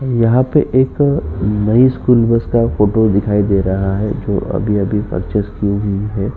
यहाँ पर एक नये स्कूल बस का फ़ोटो दिखाई दे रहा है जो अभी-अभी पर्चेज की हुई है।